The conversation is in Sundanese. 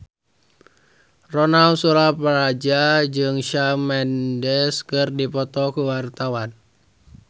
Ronal Surapradja jeung Shawn Mendes keur dipoto ku wartawan